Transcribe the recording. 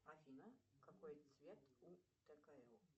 афина какой цвет у ткл